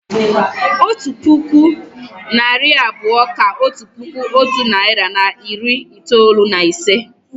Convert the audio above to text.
Otu puku, narị abụọ kà otu puku otu nari na iri itoolu na ise